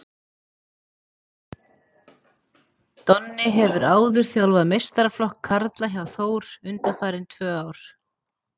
Donni hefur áður þjálfað meistaraflokk karla hjá Þór undanfarin tvö ár.